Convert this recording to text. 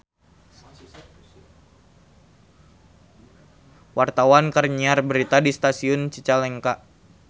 Wartawan keur nyiar berita di Stasiun Cicalengka